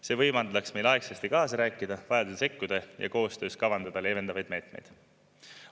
See võimaldaks meil aegasti kaasa rääkida, vajadusel sekkuda ja koostöös kavandada leevendavaid meetmeid.